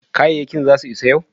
kayakin za su isa yau?